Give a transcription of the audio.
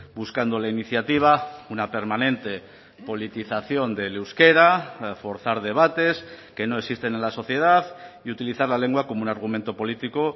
buscando la iniciativa una permanente politización del euskera forzar debates que no existen en la sociedad y utilizar la lengua como un argumento político